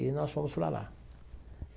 E nós fomos para lá.